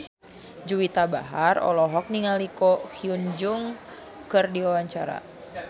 Juwita Bahar olohok ningali Ko Hyun Jung keur diwawancara